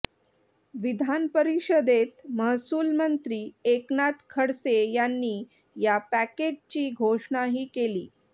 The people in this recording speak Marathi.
विधान परिषदेत महसूलमंत्री एकनाथ खडसे यांनी या पॅकेजची घोषणाही केली